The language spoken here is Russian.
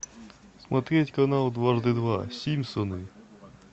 смотреть канал дважды два симпсоны